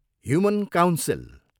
Human council.